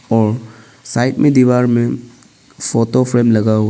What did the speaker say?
और साइड में दीवार में फोटो फ्रेम लगा हुआ--